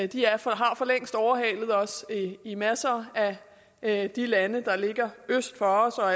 de har for længst overhalet os i masser af de lande der ligger øst for os og